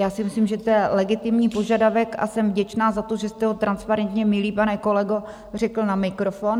Já si myslím, že to je legitimní požadavek, a jsem vděčná za to, že jste ho transparentně, milý pane kolego, řekl na mikrofon.